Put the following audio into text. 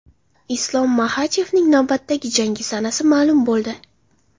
Islom Maxachevning navbatdagi jangi sanasi ma’lum bo‘ldi.